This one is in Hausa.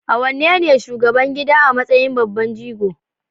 AWanene shugaban gida a matsayin babban jigo?